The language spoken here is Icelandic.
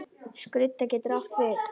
Skrudda getur átt við